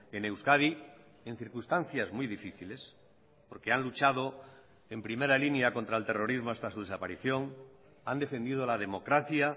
en euskadi en circunstancias muy difíciles porque han luchado en primera línea contra el terrorismo hasta su desaparición han defendido la democracia